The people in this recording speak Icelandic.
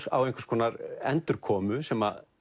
á einhverskonar endurkomu sem